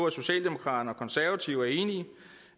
at socialdemokraterne og konservative er enige